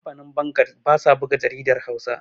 kamfanin bangad ba sa buga jaridar Hausa